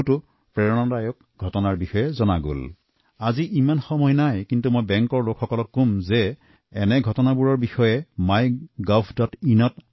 আজি এই লৈ বিস্তাৰিতভাৱে কোৱাৰ সময় নাই বেংকৰ কৰ্মকৰ্তাসকলক মই কলো এইবোৰ তথ্য mygovinত আপলোড কৰি দিয়ক